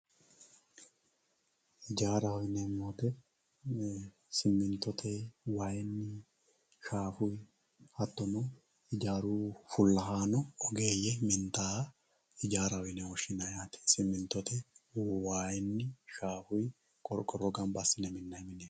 Ijjaaraho yi'neemo woyite siminitote, wayinni, shaafuyi hatonno ijjaru fulahaano oggeeye minitaayaha ijjaraho yine woshinnanni simintote wayinni shaafunni, qoriqoro gamba asine minayi mine.